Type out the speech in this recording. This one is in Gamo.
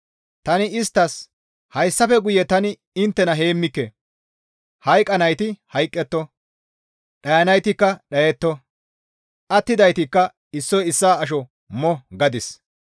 Tani isttas, «Hayssafe guye tani inttena heemmike; hayqqanayti hayqqetto; dhayanaytikka dhayetto; attidaytikka issoy issaa asho mo» gadis.